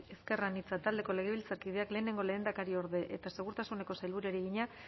ezker anitza taldeko legebiltzarkideak lehenengo lehendakariorde eta segurtasuneko sailburuari egina